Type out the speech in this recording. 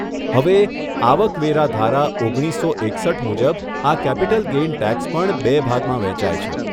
હવે, આવક વેરા ધારા, ઓગણીસસો એકસઠ મુજબ આ કેપિટલ ગેઇન ટેક્સ પણ બે ભાગમાં વહેંચાય છે.